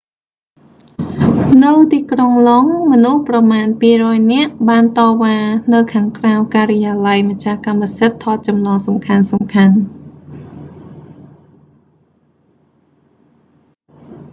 នៅទីក្រុងឡុងដ៏ មនុស្សប្រមាណ 200 នាក់ បានតវ៉ានៅខាងក្រៅការិយាល័យម្ចាស់កម្មសិទ្ធិថតចម្លងសំខាន់ៗ